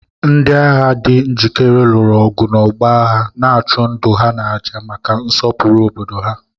Ndị agha di njikere lụrụ ọgụ n'ọgbọ agha, na-achụ ndụ ha n'àjà maka nsọpụrụ obodo ha.